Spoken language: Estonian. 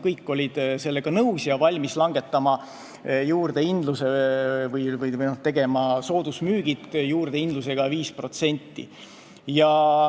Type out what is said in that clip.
Kõik olid sellega nõus ja olid valmis langetama juurdehindlust või tegema soodusmüüke juurdehindlusega 5%.